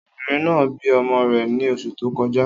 Obìnrin náà bí ọmọ rẹ̀ ní oṣù tó kọjá.